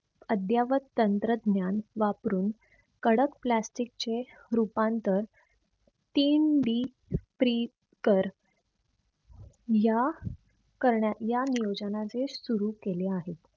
अद्यावत तंत्रज्ञान वापरून कडक plastic चे रूपांतर या करण्या या नियोजनाचे सुरु केले आहे.